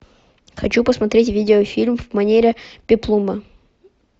хочу посмотреть видеофильм в манере пеплума